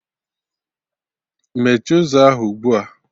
Mechie ụzọ ahụ ugbua!